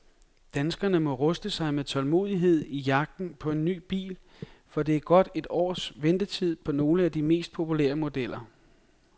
Danskerne må ruste sig med tålmodighed i jagten på ny bil, for der er godt et års ventetid på nogle af de mest populære modeller.